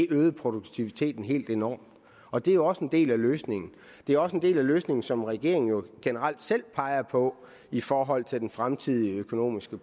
øgede produktiviteten helt enormt og det er også en del af løsningen det er også en del af den løsning som regeringen jo generelt selv peger på i forhold til den fremtidige økonomiske